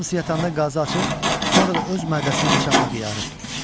Hamısı yatanda qazı açıb, sonra da öz mədəsini bıçaqla qıyarıb.